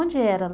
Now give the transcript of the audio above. Onde era?